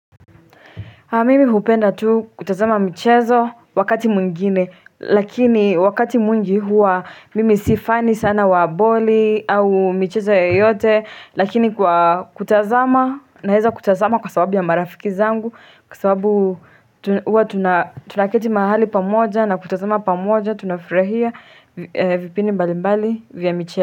Mimi hupenda tu kutazama mchezo wakati mwingine lakini wakati mwingi huwa mimi si fan sana wa boli au michezo yoyote lakini kwa kutazama naeza kutazama kwa sababu ya marafiki zangu kwa sababu huwa tunaketi mahali pamoja na kutazama pamoja tunafurahia vipindi mbali mbali vya michezo.